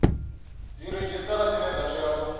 dziredzhisitara dzine dza tea u